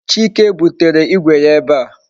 Chike butere Igwe ya ebe a